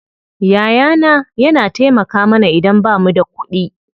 Yaya na yana taimaka mana idan bamu da kuɗi.